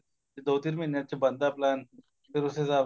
ਦੋ ਤਿੰਨ ਮਹੀਨੇ ਚ ਬਣਦਾ plain ਫੇਰ ਉਸ ਹਿਸਾਬ ਨਾਲ